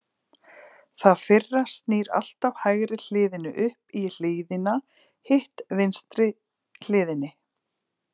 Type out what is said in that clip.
Það fyrra snýr alltaf hægri hliðinni upp í hlíðina, hitt vinstri hliðinni.